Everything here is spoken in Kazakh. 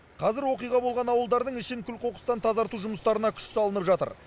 қазір оқиға болған ауылдардың ішін күл қоқыстан тазарту жұмыстарына күш салынып жатыр